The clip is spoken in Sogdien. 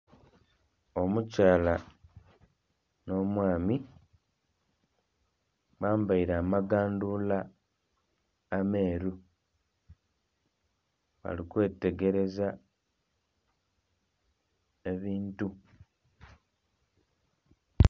Omukyala no mwaami bambaire amagandula ameeru bali kwetegerezza ebintu